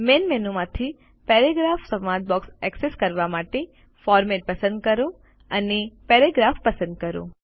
main મેનુમાંથી paragraph સંવાદ box access કરવા માટે ફોર્મેટ પસંદ કરો અને પેરાગ્રાફ પસંદ કરો